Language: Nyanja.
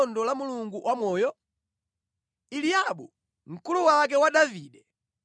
Anthu anamuwuzanso zonse zimene mfumu inanena kuti idzachitira munthu amene adzapha Mfilisitiyo.